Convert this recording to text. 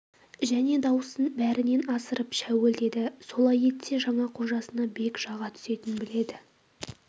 және дауысын бәрінен асырып шәуілдеді солай етсе жаңа қожасына бек жаға түсетінін біледі